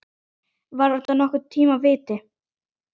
Var þetta nokkurn tíma víti?